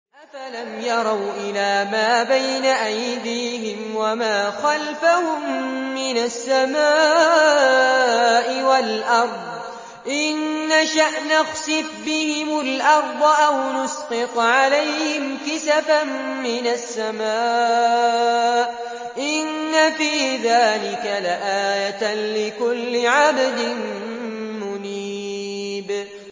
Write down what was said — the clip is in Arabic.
أَفَلَمْ يَرَوْا إِلَىٰ مَا بَيْنَ أَيْدِيهِمْ وَمَا خَلْفَهُم مِّنَ السَّمَاءِ وَالْأَرْضِ ۚ إِن نَّشَأْ نَخْسِفْ بِهِمُ الْأَرْضَ أَوْ نُسْقِطْ عَلَيْهِمْ كِسَفًا مِّنَ السَّمَاءِ ۚ إِنَّ فِي ذَٰلِكَ لَآيَةً لِّكُلِّ عَبْدٍ مُّنِيبٍ